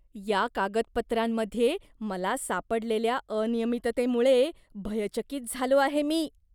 या कागदपत्रांमध्ये मला सापडलेल्या अनियमिततेमुळे भयचकित झालो आहे मी.